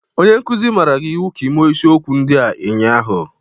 Onye nkuzi maara gị iwu ka ịme isiokwu ndị a ụnyaahụ!